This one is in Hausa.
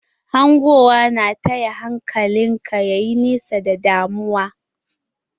Hangowa na taya hankalin ka ta yi nesa da damuwa.